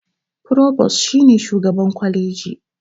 Furobas shi ne shugaban kwaleji.